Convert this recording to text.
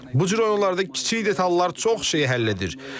Bu cür oyunlarda kiçik detallar çox şeyi həll edir.